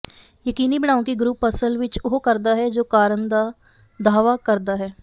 ਯਕੀਨੀ ਬਣਾਉ ਕਿ ਗਰੁੱਪ ਅਸਲ ਵਿੱਚ ਉਹ ਕਰਦਾ ਹੈ ਜੋ ਕਰਨ ਦਾ ਦਾਅਵਾ ਕਰਦਾ ਹੈ